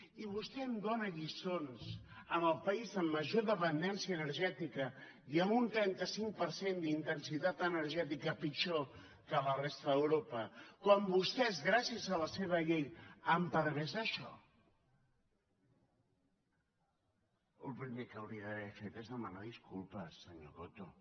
i vostè em dóna lliçons amb el país amb major dependència energètica i amb un trenta cinc per cent d’intensitat energètica pitjor que a la resta d’europa quan vostès gràcies a la seva llei han permès això el primer que hauria d’haver fet és demanar disculpes senyor coto